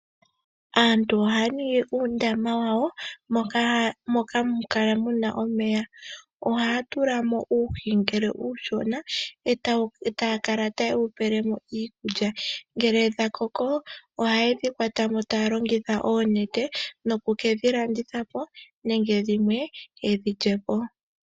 Aantu ohaya ningi uundama wawo moka hamu kala muna omeya. Ohaya tulamo uuhi manga uushona eta yakala tayewu pelemo iikulya. Ngele dha koko, ohayedhi kwatamo taya longitha oonete, noku kedhi landithapo, nenge dhimwe yedhi lyepo.